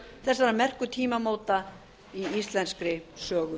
þessara merku tímamóta í íslenskri sögu